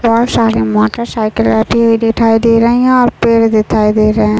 बहोत सारे motorcycle रखी हुई दिखाई दे रहे है और पेड़ दिखाई दे रहे है।